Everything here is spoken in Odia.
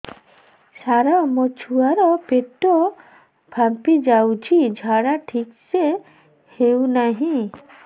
ସାର ମୋ ଛୁଆ ର ପେଟ ଫାମ୍ପି ଯାଉଛି ଝାଡା ଠିକ ସେ ହେଉନାହିଁ